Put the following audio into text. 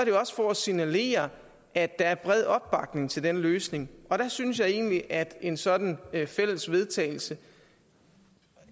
jo også for at signalere at der er bred opbakning til den løsning og der synes jeg egentlig at en sådan fælles vedtagelse